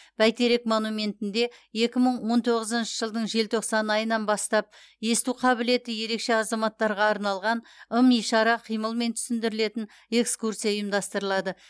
бәйтерек монументінде екі мың он тоғызыншы жылдың желтоқсан айынан бастап есту қабілеті ерекше азаматтарға арналған ым ишара қимылмен түсіндірілетін экскурсия ұйымдастырылады